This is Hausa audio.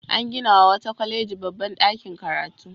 An ginawa wata kwaleji babban ɗakin karatu.